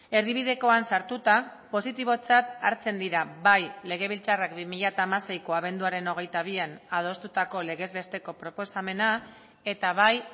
erdibidekoan sartuta positibotzat hartzen dira bai legebiltzarrak bi mila hamaseiko abenduaren hogeita bian adostutako legez besteko proposamena eta bai